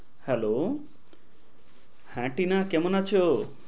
Hello হ্যাঁ টিনা কেমন আছো?